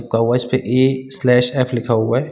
कवच पे A slash F लिखा हुआ है।